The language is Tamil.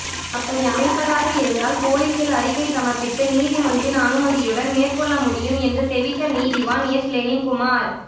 அப்படி அமைப்பதாக இருந்தால் பொலிஸில் அறிக்கை சமர்ப்பித்து நீதிமன்றின் அனுமதியுடன் மேற்கொள்ளமுடியும் என்று தெவித்த நீதிவான் எஸ் லெனின்குமார்